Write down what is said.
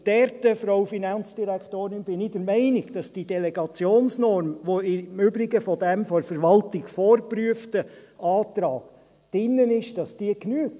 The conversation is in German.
Und dort, Frau Finanzdirektorin, bin ich der Meinung, dass die Delegationsnorm, die im Übrigen in dem von der Verwaltung vorgeprüften Antrag drin ist, genügt.